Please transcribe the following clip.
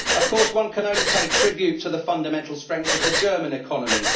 Of course, one can only pay tribute to the fundamental strength of the German economy.